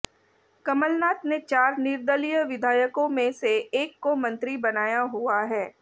कमलनाथ ने चार निर्दलीय विधायकों में से एक को मंत्री बनाया हुआ है